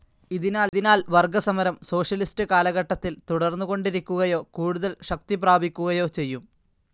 ഇതിനാൽ വർഗസമരം സോഷ്യലിസ്റ്റ്‌ കാലഘട്ടത്തിൽ തുടർന്നുകൊണ്ടിരിക്കുകയോ കൂടുതൽ ശക്തിപ്രാപിക്കുകയോ ചെയ്യും.